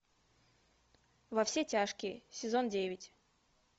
во все тяжкие сезон девять